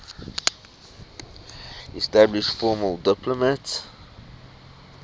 established formal diplomatic